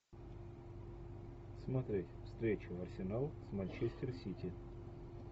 смотреть встречу арсенал с манчестер сити